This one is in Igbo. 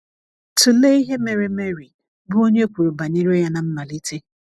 Tụlee ihe mere Mary, bụ́ onye e kwuru banyere ya ná mmalite.